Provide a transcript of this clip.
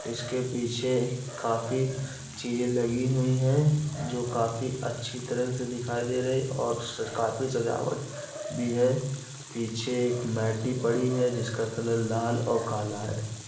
इसके पीछे काफी चीजें लगी हुई हैं। जो काफी अच्छी तरह से दिखाई दे रही हैं और काफी सजावट भी हैं। पीछे एक मैटी पड़ी है जो लाल और काला है।